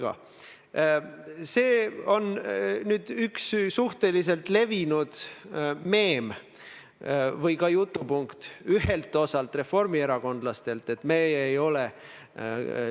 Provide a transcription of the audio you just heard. Ma mäletan ise, kuidas Keskerakond ligemale kümme aastat tegi opositsioonis konstruktiivset kriitikat ja nii see peabki olema.